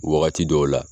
Wagati dɔw la